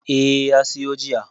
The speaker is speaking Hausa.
Eh, ya siyo jiya.